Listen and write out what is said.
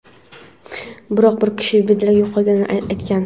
biroq bir kishi bedarak yo‘qolganini aytgan.